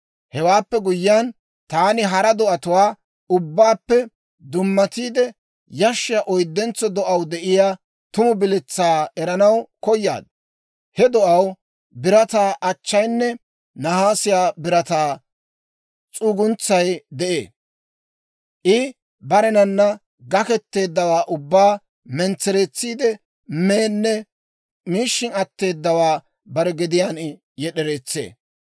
«Hewaappe guyyiyaan, taani hara do'atuwaa ubbaappe dummatiide yashshiyaa oyddentso do'aw de'iyaa tumu biletsaa eranaw koyaad. He do'aw birataa achchayinne nahaase birataa s'uguntsay de'ee; I barenan gakketeeddawaa ubbaa mentsereetsiide meenne miishshin atteedawaa bare gediyaan yed'ereetsee.